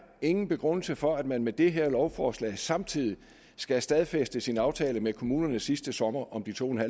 ingen begrundelse for at man med det her lovforslag samtidig skal stadfæste sin aftale med kommunerne fra sidste sommer om de to